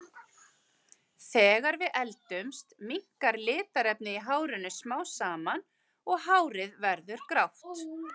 Þegar við eldumst minnkar litarefnið í hárinu smám saman og hárið verður því grátt.